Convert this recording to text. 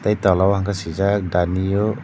tola o hwnkhe swijak the new.